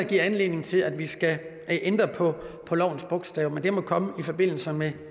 giver anledning til at vi skal ændre på på lovens bogstav men det må komme i forbindelse med